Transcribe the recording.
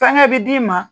Fɛnkɛ bi d'i ma